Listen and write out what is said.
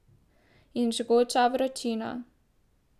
In žgoča vročina.